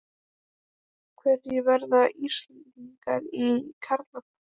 Hverjir verða Íslandsmeistarar í karlaflokki?